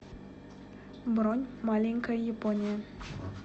бронь маленькая япония